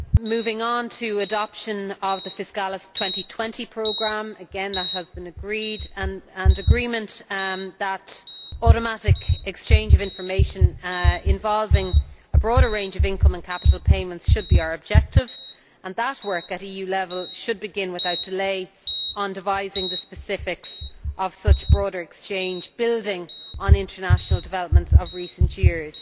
Moving on to adoption of the Fiscalis 2020 programme again, that has been agreed and agreement that automatic exchange of information, involving a broader range of income and capital payments, should be our objective, and that work at EU level should begin without delay on devising the specifics of such broader exchange, building on international developments of recent years,